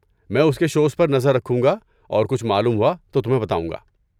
میں اس کے شوز پر نظر رکھوں گا اور کچھ معلوم ہوا تو تمہیں بتاؤں گا۔